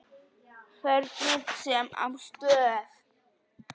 Hvernig sem á stóð.